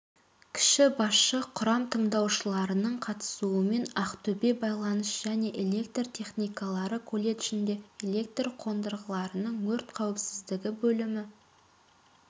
кіші басшы құрам тыңдаушыларының қатысуымен ақтөбе байланыс және электр техникалары колледжінде электр қондырғыларының өрт қауіпсіздігі бөлімі